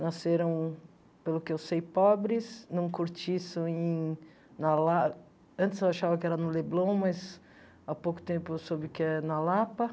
Nasceram, pelo que eu sei, pobres, num cortiço em na La, antes eu achava que era no Leblon, mas há pouco tempo eu soube que é na Lapa.